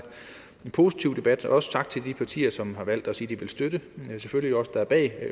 positiv debat og også tak til de partier som har valgt at sige at de vil støtte der er selvfølgelig os der er bag